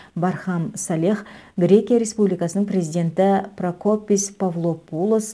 бархам салех грекия республикасының президенті прокопис павлопулос